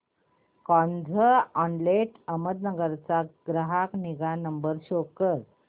Carzonrent Ahmedabad चा ग्राहक निगा नंबर शो कर